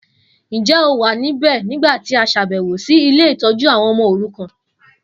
Njẹ́ o wa níbẹ̀ nígbàtí a ṣàbẹ̀wọ̀ si ile-itójú àwon ọmọ orukan?